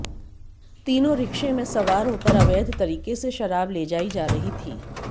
तीनों रिक्शे में सवार होकर अवैध तरीके से शराब ले जा रहीं थी